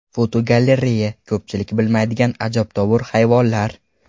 Fotogalereya: Ko‘pchilik bilmaydigan ajabtovur hayvonlar.